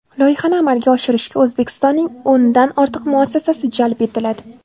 Loyihani amalga oshirishga O‘zbekistonning o‘ndan ortiq muassasasi jalb etiladi.